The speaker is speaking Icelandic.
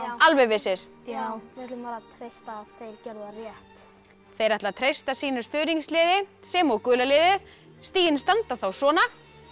alveg vissir já við ætlum að treysta á að þeir gerðu það rétt þeir ætla að treysta sínu stuðningsliði sem og gula liðið stigin standa þá svona